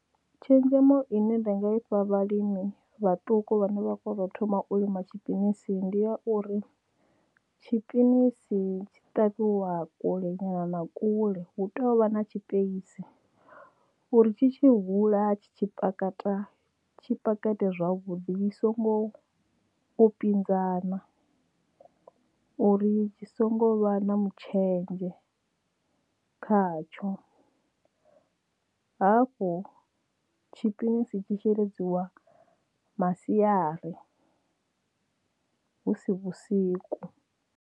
Tshenzhemo ine nda nga ifha vhalimi vhaṱuku vhane vha kho to thoma u lima tshipinisi ndi ya uri tshipinisi tshi ṱavhiwa kule nyana na kule hu tou vha na tshipeisi uri tshi tshi hula tshi pakate tshi ite zwavhuḓi zwi songo u pinzana uri tshi songo vha na mutshenzhe khatsho hafhu tshipinisi tshi sheledziwa masiari husi vhusiku.